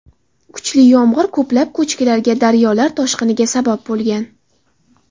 Kuchli yomg‘ir ko‘plab ko‘chkilarga, daryolar toshqiniga sabab bo‘lgan.